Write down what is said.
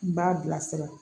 N b'a bilasira